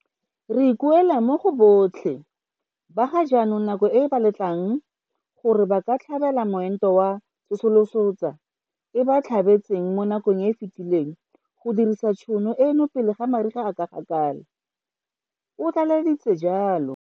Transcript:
Re ikuela mo go botlhe ba ga jaanong nako e ba letlang gore ba ka tlhabela moento wa go tsosolosa e ba e tlhabetseng mo nakong e e fetileng go dirisa tšhono eno pele mariga a gakala, o tlaleleditse jalo.